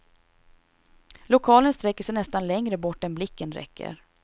Lokalen sträcker sig nästan längre bort än blicken räcker.